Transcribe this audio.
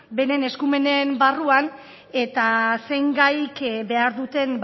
beren eskumenen barruan eta zein gaik behar duten